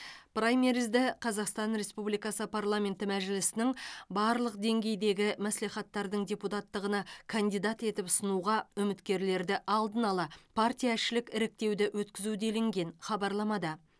праймеризді қазақстан республикасы парламенті мәжілісінің барлық деңгейдегі маслихаттардың депутаттығына кандидат етіп ұсынуға үміткерлерді алдын ала партияішілік іріктеуді өткізу делінген хабарламада